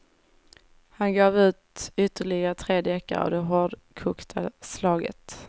Han gav ut ytterligare tre deckare av det hårdkokta slaget.